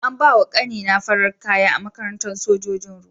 An bawa ƙani na farar kaya a makarantar sojojin ruwa.